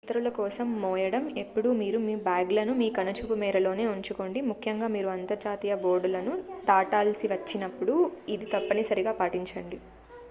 ఇతరుల కోసం మోయడం ఎప్పుడూ మీరు మీ బ్యాగ్లను మీ కనుచూపు మేరలోనే ఉంచుకోండి ముఖ్యంగా మీరు అంతర్జాతీయ బోర్డర్లను దాటాల్సి వచ్చినప్పుడు ఇది తప్పనిసరిగా పాటించండి